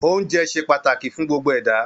Oúnjẹ ṣe pàtàkì fún gbogbo ẹ̀dá